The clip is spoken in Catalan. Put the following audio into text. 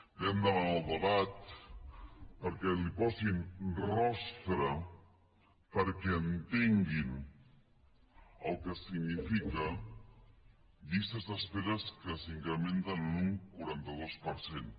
vam demanar el debat perquè li posin rostre perquè entenguin el que signifiquen llistes d’espera que s’incrementen en un quaranta dos per cent